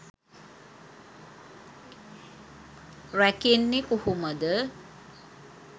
රැකෙන්නෙ කොහොමද